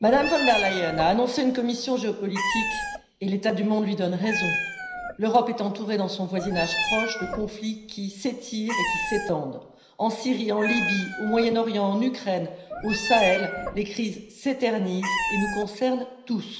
Madame la Présidente, Mme von der Leyen a annoncé une Commission géopolitique et l'état du monde lui donne raison. L'Europe est entourée dans son voisinage proche de conflits qui s'étirent et qui s'étendent en Syrie, en Libye, au Moyen Orient, en Ukraine, au Sahel, les crises s'éternisent et nous concernent tous.